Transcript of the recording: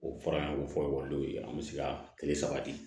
O fɔra an ye ko fɔ ekɔlidenw ye an bɛ se ka kile saba di